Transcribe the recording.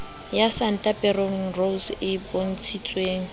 ya santa peterose e bontshitseng